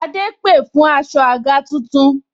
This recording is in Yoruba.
Adé pè fún aṣọ àga tuntun